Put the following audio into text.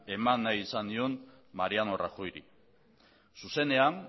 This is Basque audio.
eman nahi esan nion mariano rajoy ri zuzenean